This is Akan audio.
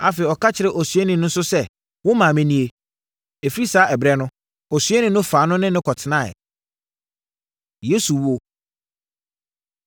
Afei, ɔka kyerɛɛ osuani no sɛ, “Wo maame nie.” Ɛfiri saa ɛberɛ no, osuani no faa no ne no kɔtenaeɛ. Yesu Wuo